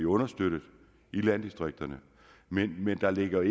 understøttet landdistrikterne men der ligger